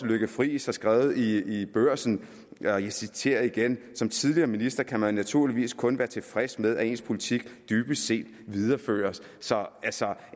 lykke friis har skrevet i i børsen og jeg citerer igen som tidligere minister kan man naturligvis kun være tilfreds med at ens politik dybest set videreføres så